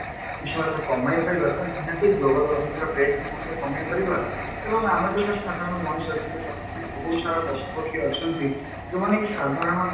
କିଛି ମାତ୍ରାରେ କମାଇ ପାରିବା ତ ନିହାତି global warming ର rate କୁ ମଧ୍ୟ କମାଇପାରିବା ଏବଂ ଆମେ ତ ଛାର ସାଧାରଣ ମଣିଷ କିନ୍ତୁ ତଥାପି ବହୁତ ସାରା ପଶୁ ପକ୍ଷୀ ଅଛନ୍ତି ଯାଉମାନେ କି ସାଧାରଣ